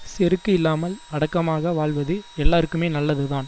செருக்கு இல்லாமல் அடக்கமாக வாழ்வது எல்லார்க்குமே நல்லதுதான்